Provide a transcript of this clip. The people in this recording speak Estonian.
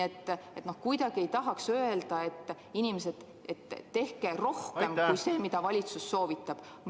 Ent kuidagi nagu ei tahaks öelda, et, inimesed, tehke rohkem kui see, mida valitsus soovitab.